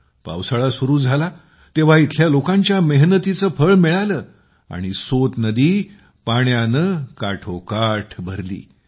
पावसाळा सुरू झाला तेव्हा येथील लोकांच्या मेहनतीचे फळ मिळाले आणि सोत नदी पाण्याने भरली गेली